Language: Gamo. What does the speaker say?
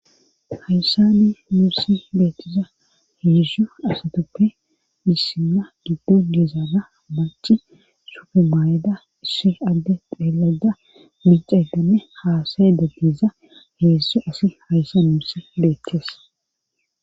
hayssa ni muusi beettiza hiyissu asatuppe issimna giddo diezaada maci sufemayeda issi adde dheelada mucedanne haasaye daggiza heesso asi hayssa muusi beettees